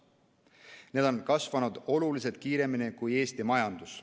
Need on kasvanud oluliselt kiiremini kui Eesti majandus.